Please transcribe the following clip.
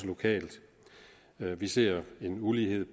lokalt vi ser en ulighed